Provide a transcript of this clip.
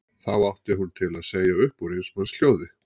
Þá átti hún til að segja upp úr eins manns hljóði